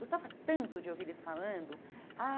Gostava tanto de ouvir eles falando ah.